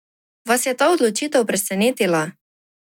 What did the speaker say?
Vas je ta odločitev presenetila?